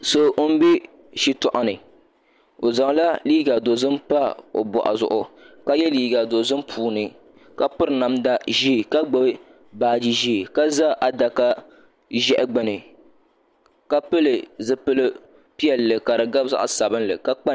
So n bɛ shitoɣu ni o zaŋla liiga dozim pa o boɣu zuɣu ka yɛ liiga dozim puuni ka piri namda ʒiɛ ka gbubi baaji ʒiɛ ka ʒɛ adaka ʒiɛhi gbuni ka pili zipioi piɛlli ka di gabi zaɣ sabinli ka kpa ninkpara